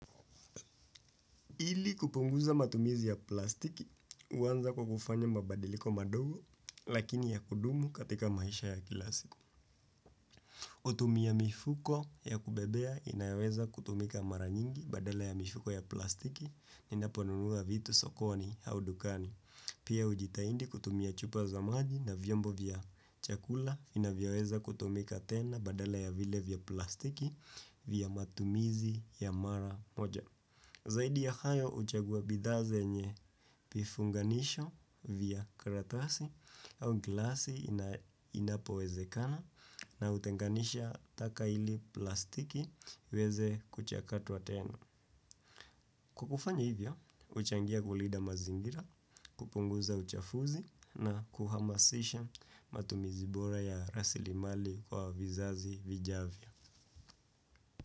Ili kupunguza matumizi ya plastiki, huanza kwa kufanya mabadiliko madogo, lakini ya kudumu katika maisha ya kila siku. Hutumia mifuko ya kubebea inayoweza kutumika mara nyingi badala ya mifuko ya plastiki, ninaponunua vitu sokoni au dukani. Pia ujitahidi kutumia chupa za maji na vyombo vya chakula vinavyoweza kutumika tena badala ya vile vya plastiki vya matumizi ya mara moja. Zaidi ya hayo uchagua bidhaa zenye vifunganisho vya karatasi au glasi inapowezekana na utenganisha taka ili plastiki iweze kuchakatwa tena. Kwa kufanya hivyo, huchangia kulinda mazingira, kupunguza uchafuzi na kuhamasisha matumizi bora ya rasilimali kwa vizazi vijavyo.